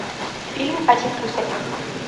фильм один плюс один